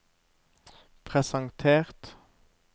presentert